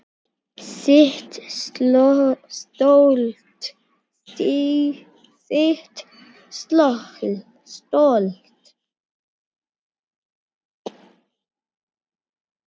Sitt stolt.